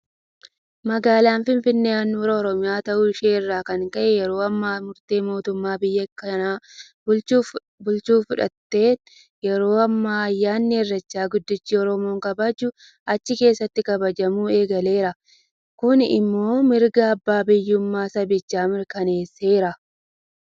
Magaalaan finfinnee handhuura Oromiyaa ta'uu ishee irraa kan ka'e yeroo ammaa murtee mootumman biyya kana bulchu fudhateen yeroo ammaa ayyaanni irreechaa guddichi oromoon kabaju achi keessatti kabajamuu eegaleera. Kun immoo mirga abbaa biyyummaa sabichaa mirkaneesseera.